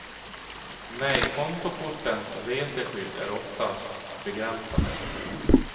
Nej, kontokortens reseskydd är oftast begränsade.